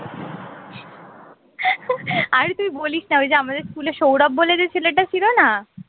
অরে তুই বলিস না ওই যে আমাদের স্কুলে সৌরভ বলে যেই ছেলেটা ছিল না